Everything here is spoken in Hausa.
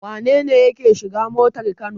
Wane ne yake shiga motar Kano?